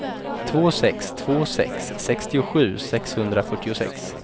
två sex två sex sextiosju sexhundrafyrtiosex